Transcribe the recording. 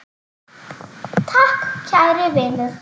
Takk kæri vinur.